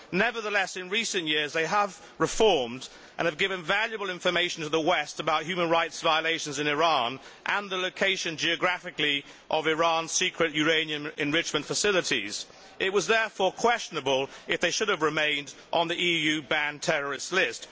Nevertheless, in recent years they have reformed, and have given valuable information to the West about human rights violations in Iran and the geographical location of Iran's secret uranium enrichment facilities. It was therefore questionable if they should have remained on the EU banned terrorist list.